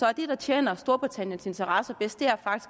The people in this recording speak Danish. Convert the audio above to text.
er det der tjener storbritanniens interesser bedst